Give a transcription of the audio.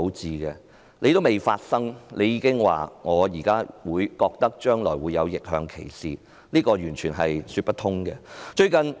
這事尚未發生，她卻說將來會發生逆向歧視，這是完全說不通的。